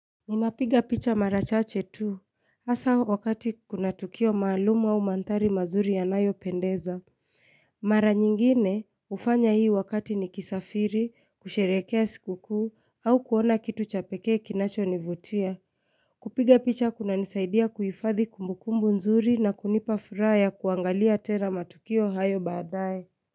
Ninapiga picha marachache tu. Asa wakati kuna tukio maalumu au mandhari mazuri ya nayo pendeza. Mara nyingine ufanya hii wakati ni kisafiri, kusherehekea sikukuu, au kuona kitu chapekee kinacho nivutia. Kupiga picha kuna nisaidia kuifadhi kumbukumbu nzuri na kunipafuraya kuangalia tena matukio hayo badae.